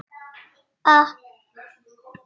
Við höfum þekkst lengi.